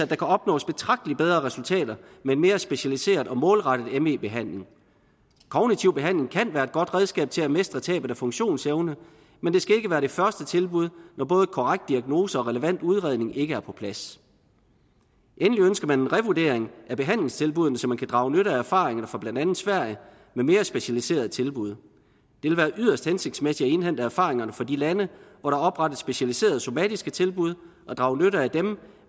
kan opnås betragteligt bedre resultater med mere specialiseret og målrettet me behandling kognitiv behandling kan være et godt redskab til at mestre tabet af funktionsevne men det skal ikke være det første tilbud når både korrekt diagnose og relevant udredning ikke er på plads endelig ønsker man en revurdering af behandlingstilbuddene så man kan drage nytte af erfaringerne fra blandt andet sverige med mere specialiserede tilbud det vil være yderst hensigtsmæssigt at indhente erfaringerne fra de lande hvor der oprettet specialiserede somatiske tilbud og drage nytte af dem